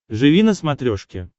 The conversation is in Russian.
живи на смотрешке